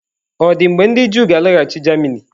Ọ̀ dị mgbe ndị Juu ga-alaghachi Germany?